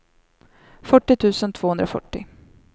fyrtio tusen tvåhundrafyrtio